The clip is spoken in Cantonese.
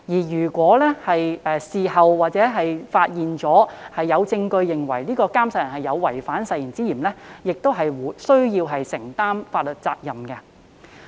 如事後發現並有證據證明宣誓人有違反誓言之嫌，宣誓人亦須承擔法律責任。